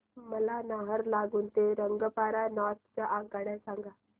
मला नाहरलागुन ते रंगपारा नॉर्थ च्या आगगाड्या सांगा